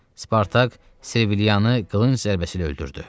Spartak Servilianı qılınc zərbəsi ilə öldürdü.